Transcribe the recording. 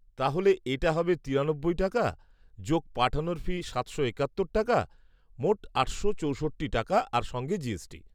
তাহলে এটা হবে তিরানব্বই টাকা, যোগ পাঠানোর ফি সাতশো একাত্তর টাকা, মোট আটশো চৌষট্টি টাকা আর সঙ্গে জিএসটি।